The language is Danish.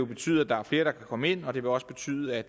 betyde at der er flere der kan komme ind og det vil også betyde at